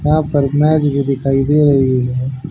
यहां पर मैच भी दिखाई दे रही है।